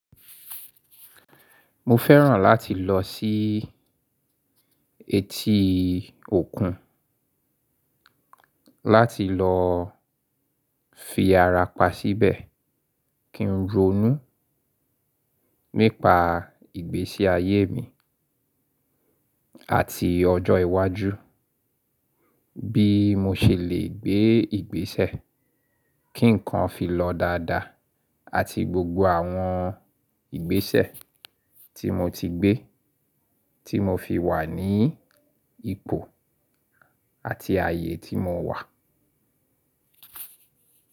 Mo fẹ́ràn láti lọ sí etí òkun láti lọ fi ara pa síbẹ̀ kí n ronú nípa ìgbésí ayé mi àti ọjọ́ iwájú bí mo ṣe lè gbé ìgbésẹ̀ kí nǹkan fi lọ dáadáa àti gbogbo àwọn ìgbésẹ̀ tí mo ti gbé tí mo fi wà ní ipò àti ayé tí mo wà.